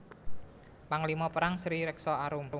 Panglima Perang Sri Rekso Arum